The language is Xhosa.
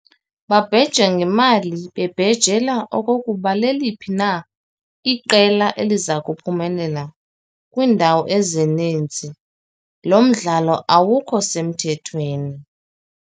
Babheja ngemali bebhejela okokuba liliphi na iqela elizakuphumelela. kwiindawo ezininzi lo mdlalo awukho semthethweni.